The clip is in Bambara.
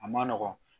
A ma nɔgɔn